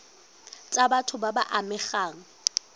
tsa batho ba ba amegang